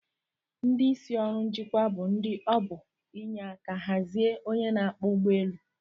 Ndi isi orụ njikwa bu ndi obu enyeka hazie onye n'akpọ ugbọ elu.